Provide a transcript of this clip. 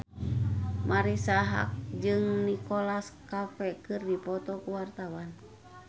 Marisa Haque jeung Nicholas Cafe keur dipoto ku wartawan